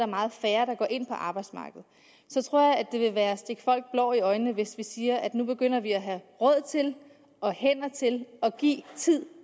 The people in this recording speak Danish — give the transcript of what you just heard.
meget færre der går ind på arbejdsmarkedet så tror jeg det vil være at stikke folk blår i øjnene hvis vi siger at vi nu begynder at have råd til og hænder til at give tid